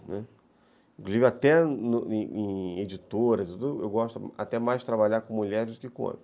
Né, inclusive, até em editoras, eu gosto até mais de trabalhar com mulheres do que com homens.